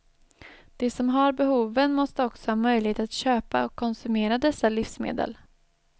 De som har behoven måste också ha möjlighet att köpa och konsumera dessa livsmedel.